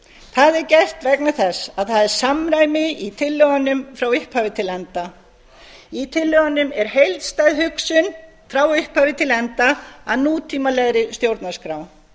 það er gert vegna þess að það er samræmi í tillögunum frá upphafi til enda í tillögum er heildstæð hugsun frá upphafi til enda að nútímalegri stjórnarskrá